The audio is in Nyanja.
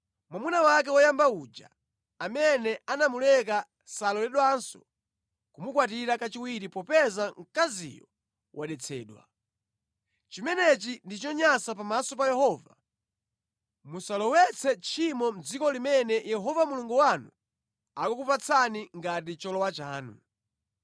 mwamuna wake woyamba uja, amene anamuleka saloledwanso kumukwatira kachiwiri popeza mkaziyo wadetsedwa. Chimenechi ndi chonyansa pamaso pa Yehova. Musalowetse tchimo mʼdziko limene Yehova Mulungu wanu akukupatsani ngati cholowa chanu.